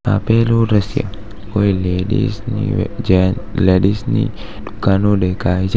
આપેલો દ્રશ્ય કોઈ લેડીઝ ની જેન લેડીઝ ની દુકાન નો દેખાય છે.